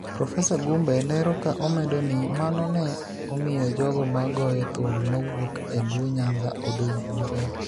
Profesa Gumbe lero ka omedo ni mano ne omiyo jogo ma goyo thum mawuok e Luo Nyanza odong' maber